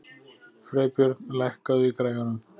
Freybjörn, lækkaðu í græjunum.